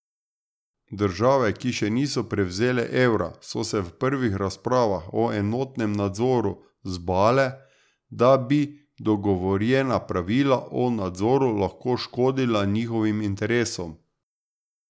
Države, ki še niso prevzele evra, so se v prvih razpravah o enotnem nadzoru zbale, da bi dogovorjena pravila o nadzoru lahko škodila njihovim interesom.